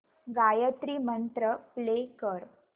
गायत्री मंत्र प्ले कर